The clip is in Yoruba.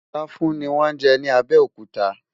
làfùn ní wón jé ní abéòkúta